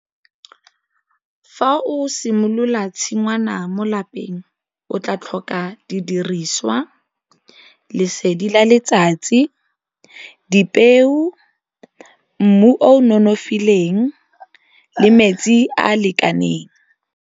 Fa o simolola tshingwana mo lapeng o tla tlhoka didiriswa, lesedi la letsatsi, dipeo, mmu o nonofileng le metsi a lekaneng.